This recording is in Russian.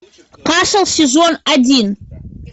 касл сезон один